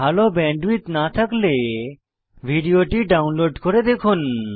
ভাল ব্যান্ডউইডথ না থাকলে ভিডিওটি ডাউনলোড করে দেখুন